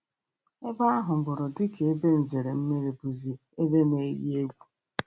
Ebe ahụburu dịka ebe nzere mmiri bụzị ebe n-eyi egwu.